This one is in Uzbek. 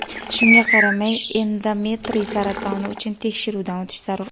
Shunga qaramay endometriy saratoni uchun tekshiruvdan o‘tish zarur.